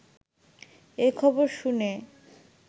এ খবর শুনে